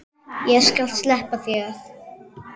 Ég skal sleppa þér.